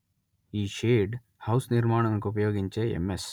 ఈ shade house నిర్మాణానికుపయోగించే MS